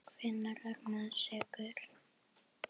Hvenær er maður sekur?